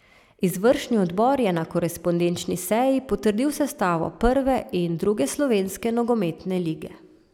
Izvršni odbor je na korespondenčni seji potrdil sestavo prve in druge slovenske nogometne lige.